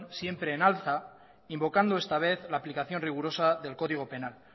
siempre en alza invocando esta vez la aplicación rigurosa del código penal